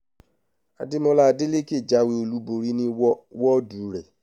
àdèmó̩là adelèké jáwé olúborí ní wọ́wó̩dù rè̩